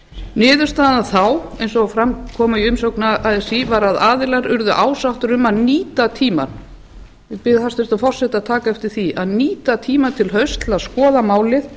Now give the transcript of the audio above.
niðurstaðan þá eins og fram kom í umsögn así var að aðilar urðu ásáttir um að nýta tímann ég bið hæstvirtan forseta að taka eftir því að nýta tímann til hausts til að skoða málið